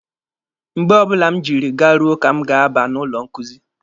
Mgbe ọbụla m jiri garuo ka m ga-aba n'ụlọ nkuzi.